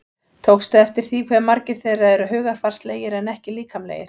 Tókstu eftir því hve margir þeirra eru hugarfarslegir en ekki líkamlegir?